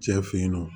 Cɛ fe yen nɔ